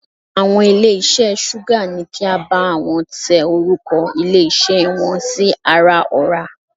Àwọn ilé iṣẹ́ Súgà ní kí á bá àwọn tẹ orúkọ ilé iṣẹ́ wọn sí ara ọ̀rá.